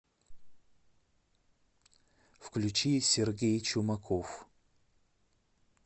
включи сергей чумаков